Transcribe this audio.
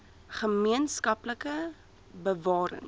gemeen skaplike bewarings